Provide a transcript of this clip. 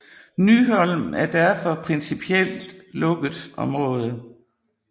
Nyholm er derfor principielt lukket område